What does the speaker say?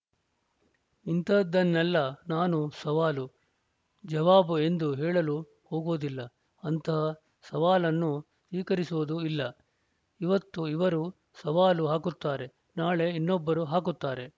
ಇಂಥದ್ದನ್ನೆಲ್ಲ ನಾನು ಸವಾಲು ಜವಾಬು ಎಂದು ಹೇಳಲು ಹೋಗುವುದಿಲ್ಲ ಅಂತಹ ಸವಾಲನ್ನು ಸ್ವೀಕರಿಸುವುದೂ ಇಲ್ಲ ಈವತ್ತು ಇವರು ಸವಾಲು ಹಾಕುತ್ತಾರೆ ನಾಳೆ ಇನ್ನೊಬ್ಬರು ಹಾಕುತ್ತಾರೆ